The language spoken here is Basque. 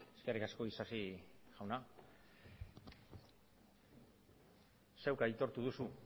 eskerrik asko isasi jauna zuk aitortu duzu